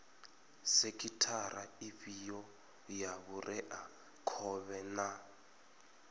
sekhithara ifhio ya vhureakhovhe na